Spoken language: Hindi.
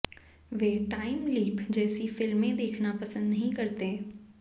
वे टाइम लीप जैसी फिल्में देखना पसंद नहीं करते